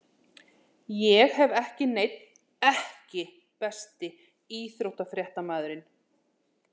Ég hef ekki neinn EKKI besti íþróttafréttamaðurinn?